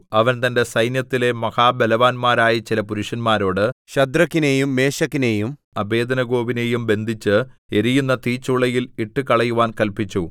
അവൻ തന്റെ സൈന്യത്തിലെ മഹാബലവാന്മാരായ ചില പുരുഷന്മാരോട് ശദ്രക്കിനെയും മേശക്കിനെയും അബേദ്നെഗോവിനെയും ബന്ധിച്ച് എരിയുന്ന തീച്ചൂളയിൽ ഇട്ടുകളയുവാൻ കല്പിച്ചു